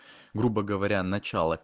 грубо говоря начало